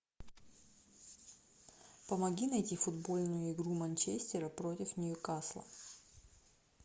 помоги найти футбольную игру манчестера против ньюкасла